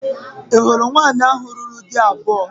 Ị hụrụ nwaanyị ahụ lụrụ di abụọ?